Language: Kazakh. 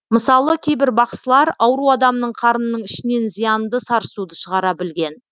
мысалы кейбір бақсылар ауру адамның қарнының ішінен зиянды сарысуды шығара білген